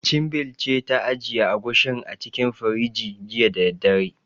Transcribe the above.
Chinbil ce ta ajiye Agushin a cikin firinji, jiya da daddare.